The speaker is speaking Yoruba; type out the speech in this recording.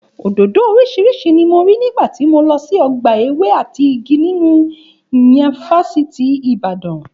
Òdòdó oríṣiríṣi ni mo rí nígbà tí mo lọ sí ọgbà ewé àti igi nínú yunifásítì Ìbàdàn